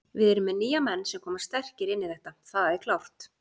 Við erum með nýja menn sem koma sterkir inn í þetta, það er klárt.